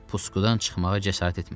Puskudan çıxmağa cəsarət etmədi.